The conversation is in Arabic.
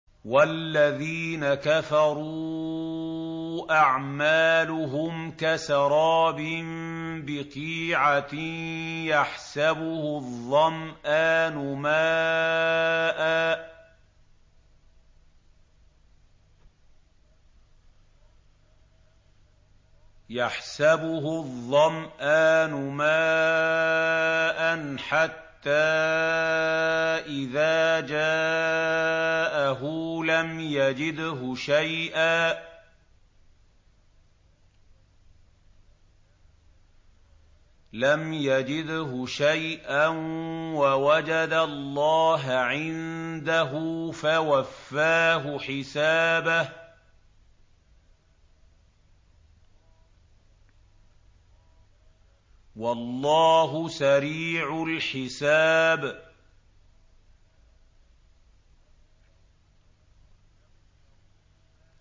وَالَّذِينَ كَفَرُوا أَعْمَالُهُمْ كَسَرَابٍ بِقِيعَةٍ يَحْسَبُهُ الظَّمْآنُ مَاءً حَتَّىٰ إِذَا جَاءَهُ لَمْ يَجِدْهُ شَيْئًا وَوَجَدَ اللَّهَ عِندَهُ فَوَفَّاهُ حِسَابَهُ ۗ وَاللَّهُ سَرِيعُ الْحِسَابِ